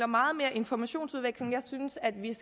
meget mere informationsudveksling jeg synes at vi